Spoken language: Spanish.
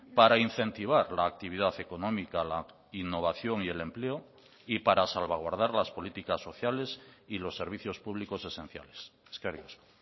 para incentivar la actividad económica la innovación y el empleo y para salvaguardar las políticas sociales y los servicios públicos esenciales eskerrik asko